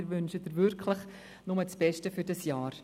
Wir wünschen Ihnen nur das Beste für dieses Jahr.